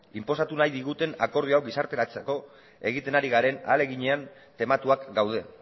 inposatu nahi diguten akordio hau gizarteratzeko egiten ari garen ahaleginean tematuak gaude